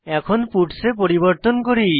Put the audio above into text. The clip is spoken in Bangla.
এখন পাটস এ পরিবর্তন করি